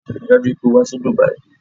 Rí i dájú o pé o wá sí Dubai!